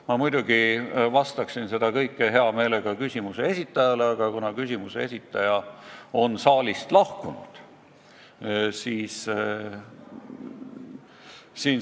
Ma muidugi räägiksin hea meelega seda kõike küsimuse esitajale, aga kuna ta on saalist lahkunud, siis lõpetan.